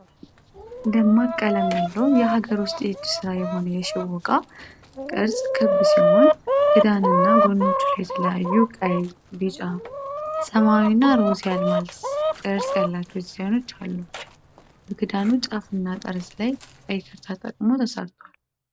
ደማቅ ቀለም ያለው የሀገር ውስጥ የእጅ ሥራ የሆነ የሽቦ ዕቃ። ቅርጹ ክብ ሲሆን፣ ክዳንና ጎኖቹ ላይ የተለያዩ ቀይ፣ ቢጫ፣ ሰማያዊና ሮዝ የአልማዝ ቅርጽ ያላቸው ዲዛይኖች አሉ። በክዳኑ ጫፍና ጠርዝ ላይ ቀይ ክር ተጠቅሞ ተሠርቷል።